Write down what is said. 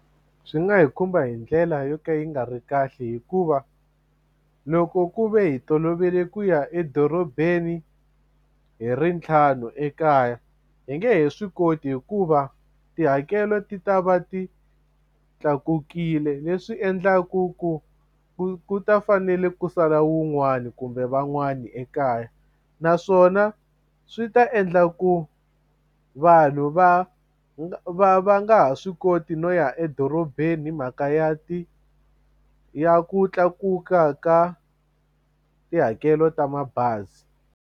Swi nga hi khumba hi ndlela yo ka yi nga ri kahle hikuva loko ku ve hi tolovele ku ya edorobeni hi ri ntlhanu ekaya hi nge he swi koti hikuva tihakelo ti ta va ti tlakukile leswi endlaku ku ku ku ta fanele ku sala wun'wani kumbe van'wani ekaya naswona swi ta endla ku vanhu vanhu va nga va va nga ha swi koti no ya edorobeni himhaka ya ti ya ku tlakuka ka tihakelo ta mabazi.